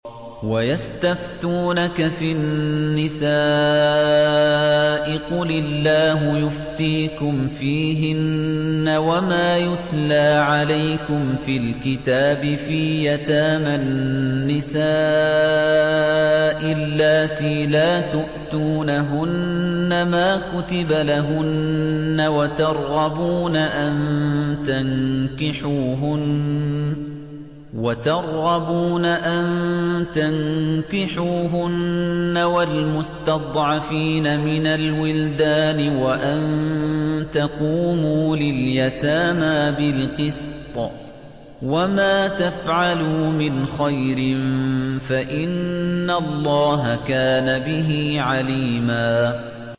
وَيَسْتَفْتُونَكَ فِي النِّسَاءِ ۖ قُلِ اللَّهُ يُفْتِيكُمْ فِيهِنَّ وَمَا يُتْلَىٰ عَلَيْكُمْ فِي الْكِتَابِ فِي يَتَامَى النِّسَاءِ اللَّاتِي لَا تُؤْتُونَهُنَّ مَا كُتِبَ لَهُنَّ وَتَرْغَبُونَ أَن تَنكِحُوهُنَّ وَالْمُسْتَضْعَفِينَ مِنَ الْوِلْدَانِ وَأَن تَقُومُوا لِلْيَتَامَىٰ بِالْقِسْطِ ۚ وَمَا تَفْعَلُوا مِنْ خَيْرٍ فَإِنَّ اللَّهَ كَانَ بِهِ عَلِيمًا